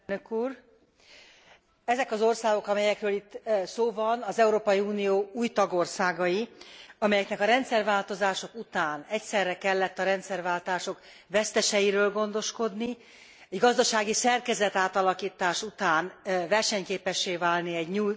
Ezek az országok, amelyekről itt szó van az Európai Unió új tagországai, amelyeknek a rendszerváltozások után egyszerre kellett a rendszerváltások veszteseiről gondoskodni, egy gazdasági szerkezetátalakítás után versenyképessé válni egy nyílt piacon,